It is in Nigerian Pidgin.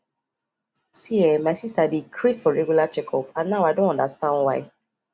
see[um]my sister dey craze for regular checkup and now i don understand why